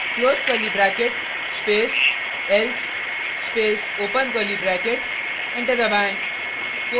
close curly bracket space else space open curly bracket enter